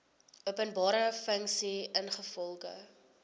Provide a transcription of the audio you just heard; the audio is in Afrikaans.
openbare funksie ingevolge